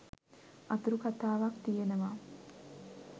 අතුරු කතාවක් තියෙනවා